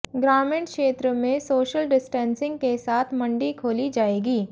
ग्रामीण क्षेत्र में सोशल डिस्टेंसिंग के साथ मंडी खोली जाएगी